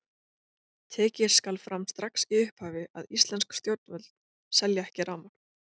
Tekið skal fram strax í upphafi að íslensk stjórnvöld selja ekki rafmagn.